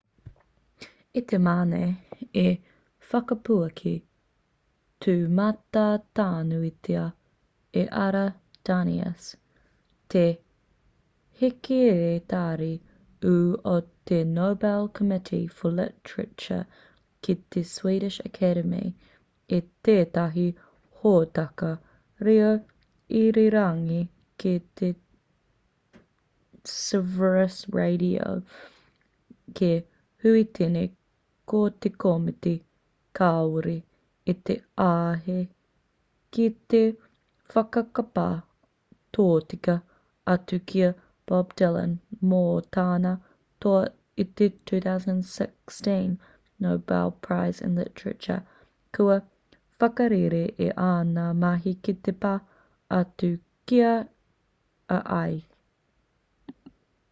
i te mane i whakapuaki tūmatanuitia e ara danius te hekeretari ū o te nobel committee for literature ki te swedish academy i tētahi hōtaka reo irirangi ki sveriges radio ki huitene ko te komiti kāore i te āhei ki te whakapā tōtika atu ki a bob dylan mō tāna toa i te 2016 nobel prize in literature kua whakarere i āna mahi ki te pā atu ki a ia